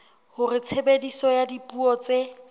hore tshebediso ya dipuo tse